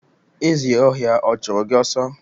Ezi ọhịa ọ chụrụ gị ọsọ